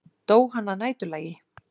Dó hann að næturlagi?